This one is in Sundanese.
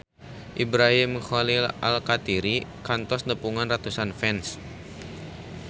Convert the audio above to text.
Ibrahim Khalil Alkatiri kantos nepungan ratusan fans